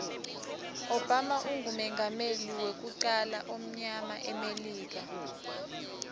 obama ungumengameli idmuyama wekucala emilika